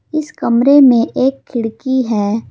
इस कमरे में एक खिड़की है।